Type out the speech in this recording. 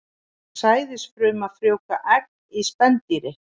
Sæðisfruma frjóvgar egg í spendýri.